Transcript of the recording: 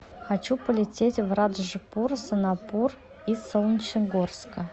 хочу полететь в раджпур сонапур из солнечногорска